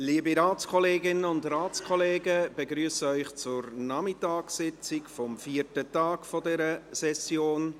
Liebe Ratskolleginnen und Ratskollegen, ich begrüsse Sie zur Nachmittagssitzung des vierten Tags dieser Session.